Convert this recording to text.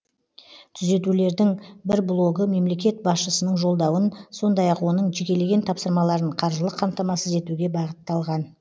түзетулердің бір блогы мемлекет басшысының жолдауын сондай ақ оның жекелеген тапсырмаларын қаржылық қамтамасыз етуге бағытталған